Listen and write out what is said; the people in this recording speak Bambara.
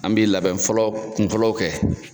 An bɛ labɛn fɔlɔ kun fɔlɔw kɛ.